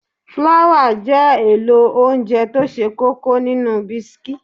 Fláwà jẹ́ èlò óńjẹ tó ṣe kókó nínú bisikí.